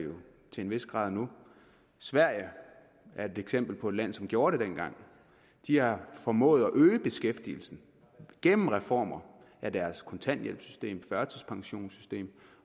til en vis grad nu sverige er et eksempel på et land som gjorde det dengang de har formået at øge beskæftigelsen gennem reformer af deres kontanthjælpssystem førtidspensionssystem